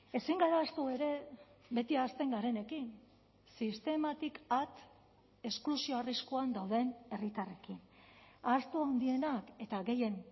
ezin gara ahaztu ere beti ahazten garenekin sistematik at esklusio arriskuan dauden herritarrekin ahaztu handienak eta gehien